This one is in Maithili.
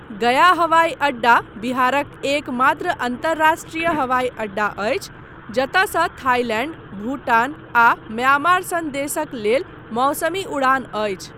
गया हवाई अड्डा बिहारक एकमात्र अन्तर्राष्ट्रीय हवाई अड्डा अछि, जतयसँ थाईलैंड, भूटान आ म्यांमार सन देशक लेल मौसमी उड़ान अछि।